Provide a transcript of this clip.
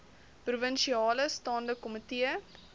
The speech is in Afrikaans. provinsiale staande komitee